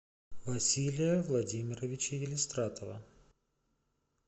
василия владимировича елистратова